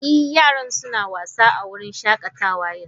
Ee, yaran suna wasa a wurin shakatawa yanzu.